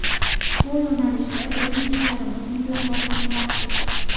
Bu yo‘nalishda bizning ishlarimiz mutlaqo qoniqarsiz.